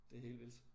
Det helt vildt